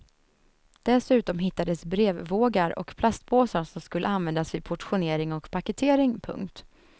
Dessutom hittades brevvågar och plastpåsar som skulle användas vid portionering och paketering. punkt